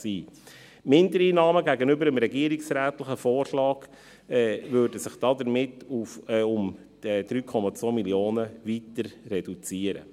Die Mindereinnahmen gegenüber dem regierungsrätlichen Vorschlag mit 3,2 Mio. Franken würden sich damit weiter reduzieren.